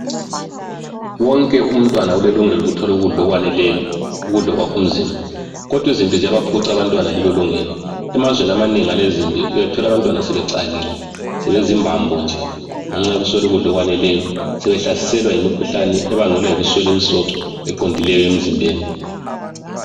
Wonke umntwana ulelungelo lokuthola ukudla okwaneleyo, ukudla okwakha umzimba. Kodwa izimpi ziyabaphuca abantwana lelolungelo. Emazweni amanengi alezimpi uyathola abantwana sebecakile sebezimbambo nje ngenxa yokuswela ukudla okwaneleyo, sebehlaselwa yimikhuhlane ebangelwa yikuswela imisoco eqondileyo emzimbeni.